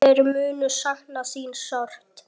Þeir munu sakna þín sárt.